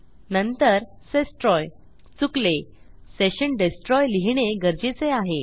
नंतर सेस्ट्रॉय चुकलो सेशन डेस्ट्रॉय लिहिणे गरजेचे आहे